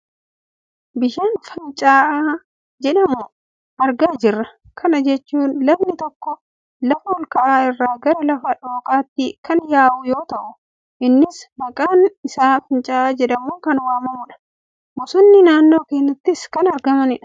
Bishaan fincaa'aa jedhamu argaa jirra. Kana jechuun lagni tokko lafa ol ka'aa irraa gara lafa dhooqaatti kan yaa'u yoo ta'e innis maqaan isaa fincaa'aa jedhamuun kan waammamudha. Bosonnis naannoo kanatti kan argamanidha.